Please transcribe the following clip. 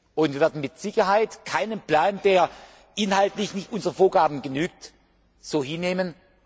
Und wir werden mit Sicherheit keinen Plan, der inhaltlich nicht unseren Vorgaben genügt, so hinnehmen.